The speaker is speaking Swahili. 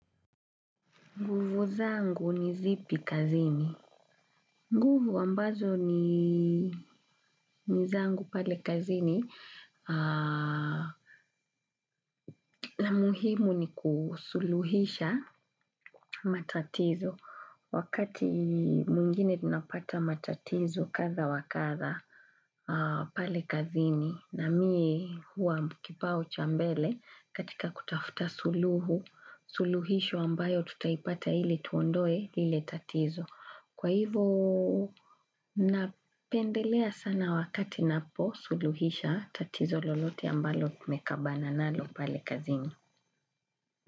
Nguvu zangu ni zipi kazini. Nguvu ambazo ni zangu pale kazini na muhimu ni kusuluhisha matatizo wakati mwingine ninapata matatizo kadha wa kadha pale kazini na mie huwa ni kipao cha mbele katika kutafuta suluhu, suluhisho ambayo tutaipata ili tuondoe ile tatizo. Kwa hivyo napendelea sana wakati naposuluhisha tatizo lolote ambalo tumekabana nalo pale kazini.